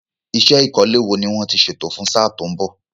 Iṣẹ́ ìkọ́lé wo ni wọ́n ti ṣètò fún sáà tó ń bọ̀?